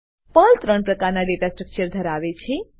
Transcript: Perl ત્રણ પ્રકારના data structure ધરાવે છે